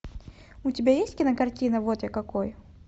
у тебя есть кинокартина вот я какой